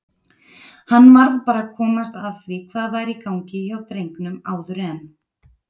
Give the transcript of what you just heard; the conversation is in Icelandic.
Hann varð bara að komast að því hvað væri í gangi hjá drengnum áður en